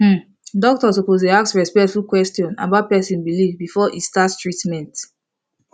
umm doctor suppose dey ask respectful question about person belief before e start treatment